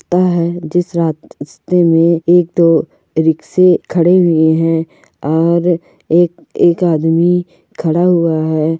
जिस रात रस्ते मे एक तो रिक्शे खडे हुए है और एक एक आदमी खडा हुआ है।